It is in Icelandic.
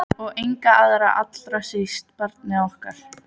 Og enga aðra- allra síst barnið okkar.